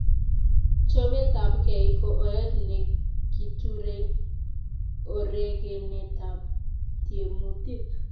Chopetapkei ko oret ne kiturei orokenetap tiemutik